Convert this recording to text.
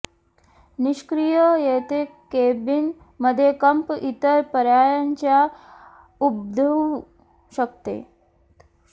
निष्क्रिय येथे केबिन मध्ये कंप इतर पर्यायांच्या उद्भवू शकते